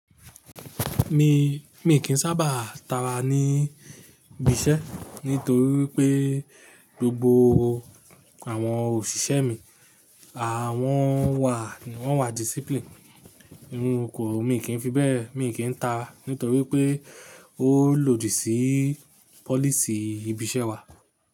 Mi, mi kì í sábà tara ní ibi iṣẹ́ nítorí pé gbogbo àwọn òṣìṣẹ́ mi, àwọn wà ní, wọ́n wà discipline. Irú okowo mi kì í fi bẹ́ẹ̀, mi kì í ta nítorí pé ó lòdì sí policy ibi iṣẹ́ wa.